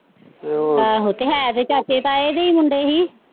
ਆਹੋ ਤੇ ਹੈ ਤੇ ਚਾਚੇ ਤਾਏ ਦੇ ਹੀ ਮੁੰਡੇ ਸੀ।